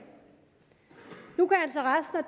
nu kan